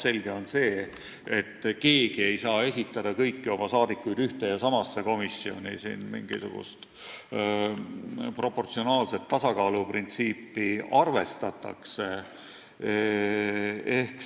Selge on see, et fraktsioon ei saa esitada kõiki oma liikmeid ühte ja samasse komisjoni, siin arvestatakse mingisugust proportsionaalset tasakaaluprintsiipi.